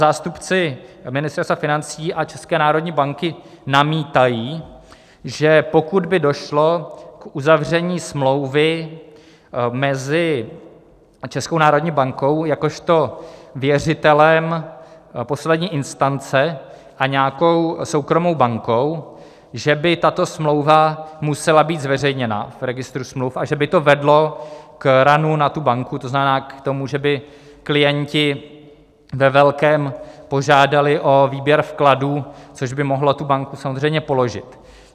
Zástupci Ministerstva financí a České národní banky namítají, že pokud by došlo k uzavření smlouvy mezi Českou národní bankou jakožto věřitelem poslední instance a nějakou soukromou bankou, že by tato smlouva musela být zveřejněna v registru smluv a že by to vedlo k runu na tu banku, to znamená k tomu, že by klienti ve velkém požádali o výběr vkladů, což by mohlo tu banku samozřejmě položit.